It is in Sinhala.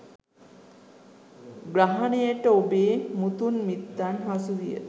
ග්‍රහණයට ඔබේ මුතුන් මිත්තන් හසුවිය.